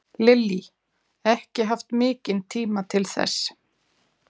Lillý: Ekki haft mikinn tíma til þess?